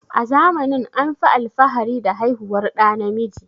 A zamanin anfi alfahari da haihuwar ɗa namiji